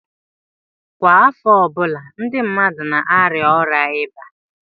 Kwa afo ọbụla ndi mmadu na-aria oria iba